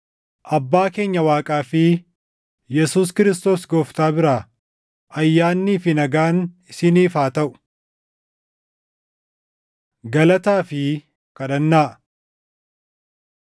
Abbaa keenya Waaqaa fi Yesuus Kiristoos Gooftaa biraa ayyaannii fi nagaan isiniif haa taʼu. Galataa Fi Kadhannaa